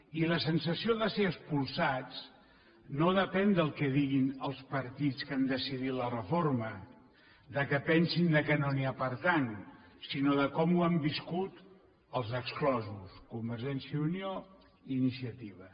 i la sensació de ser expulsats no depèn del que diguin els partits que han decidit la reforma que pensin que no n’hi ha per tant sinó de com ho han viscut els exclosos convergència i unió i iniciativa